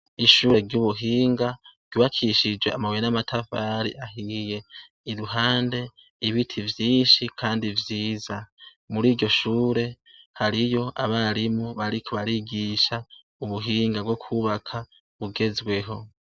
Ishure ry' ubuhinga, ryubakishije amabuye n' amatafari ahiye. Iruhande, ibiti vyinshi kandi vyiza. Muriryo shure, hariyo abarimu bariko barigisha ubuhinga bwo kw' ubaka, bugezweho.